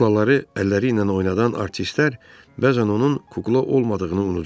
Kuklaları əlləri ilə oynadan artistlər bəzən onun kukla olmadığını unudur.